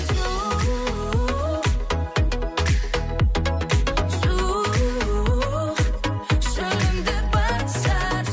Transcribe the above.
су шу шөлімді басар